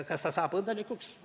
Kas ta saab õnnelikuks?